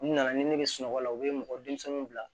U nana ni ne ye sunɔgɔ la u bɛ mɔgɔ denmisɛnninw bila